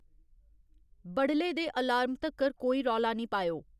बडले दे अलार्म तक्कर कोई रौला निं पाएओ